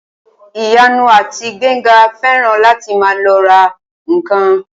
Ìyanu àti Gbénga fẹ́ràn láti máa lọ ra ǹkan